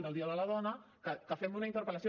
del dia de la dona que fem una interpel·lació